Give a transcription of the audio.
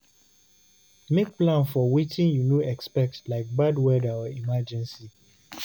Make plan for wetin you no expect like bad weather or emergency